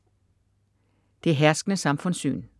Det herskende samfundssyn